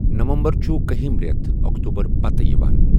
نَوَمبَر چھُ کَہم ریتھ اۆکتؤبَر پَتہٕ یِوان۔